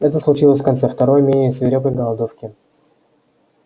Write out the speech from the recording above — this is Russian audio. это случилось в конце второй менее свирепой голодовки